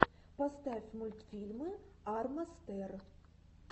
поставь мультфильмы арма стер